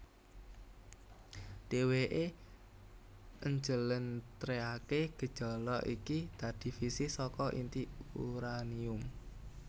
Dheweké njlentrehaké gejala iki dadi fisi saka inti uranium